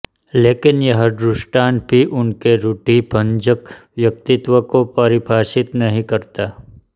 लेकिन यह दृष्टांत भी उनके रूढ़िभंजक व्यक्तित्व को परिभाषित नहीं करता